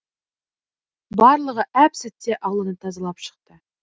барлығы әп сәтте ауланы тазалап шықты